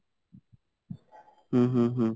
ଉଁ ହୁଁ ହୁଁ